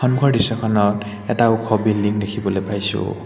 সন্মুখৰ দৃশ্যখনত এটা ওখ বিল্ডিঙ দেখিবলৈ পাইছোঁ।